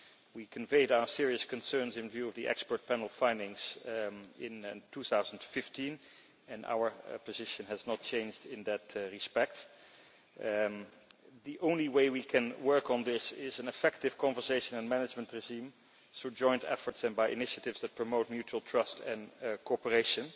We conveyed our serious concerns in view of the expert panel findings in 2015 and our position has not changed in that respect. The only way we can work on this is an effective conservation and management regime through joint efforts and by initiatives that promote mutual trust and cooperation.